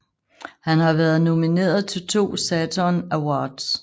Han har været nomineret til to Saturn Awards